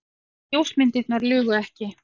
Ljósmyndirnar lugu ekki.